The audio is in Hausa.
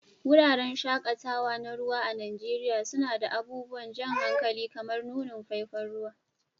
Wuraren shaƙatawa na ruwa a Najeriya suna da abubuwan jan hankali kamar nunin faifan ruwa